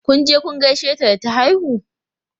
Kun je kun gaishe ta da ta haihu?